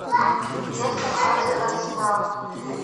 лестер против арсенала